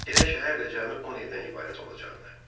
Elə şəhər də cəmi 10 evdən ibarət olacaqdı.